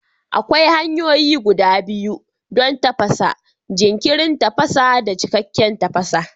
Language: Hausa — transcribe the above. Akwai hanyoyi guda biyu don tafasa: jinkirin tafasa da cikakken tafasa.